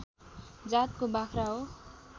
जातको बाख्रा हो